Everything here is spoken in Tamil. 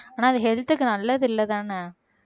ஆனா அது health க்கு நல்லது இல்லைதானே